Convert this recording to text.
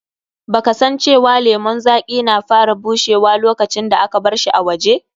Ba ka san cewa lemun zaƙi na fara bushewa lokacin da aka barshi a waje?